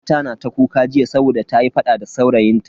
Kawata na ta kuka jiya saboda ta yi fada da saurayin ta.